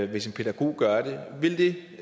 det hvis en pædagog gør det vil det